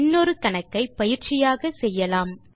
இன்னொரு கணக்கை பயிற்சியாக செய்யலாம்